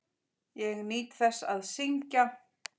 Ég nýt þess að syngja.